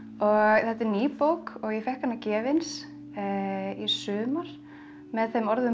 þetta er ný bók og ég fékk hana gefins í sumar með þeim orðum að